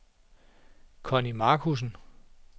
Connie Marcussen